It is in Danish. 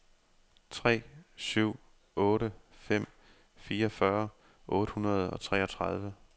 tre syv otte fem fireogfyrre otte hundrede og treogtredive